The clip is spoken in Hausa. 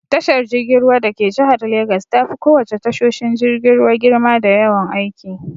Tashar jirgin ruwa dake jihar Legas tafi ko wace tashoshin jirgin ruwa girma da yawan aiki.